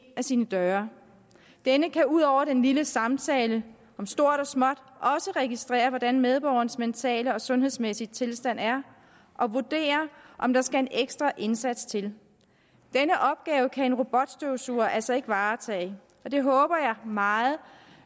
ad sin dør denne kan ud over den lille samtale om stort og småt også registrere hvordan medborgerens mentale og sundhedsmæssige tilstand er og vurdere om der skal en ekstra indsats til denne opgave kan en robotstøvsuger altså ikke varetage og det håber jeg meget